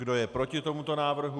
Kdo je proti tomuto návrhu?